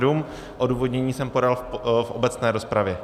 Odůvodnění jsem podal v obecné rozpravě.